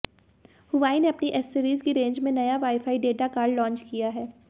Huawei ने अपनी accessories की रेंज में नया वाईफाई डेटा कार्ड लांच किया है